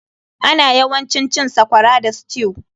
Ana yawancin cin sakwara da stew.